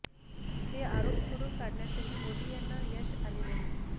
हे आरोप खोडून काढण्यातही मोदी यांना यश आले नाही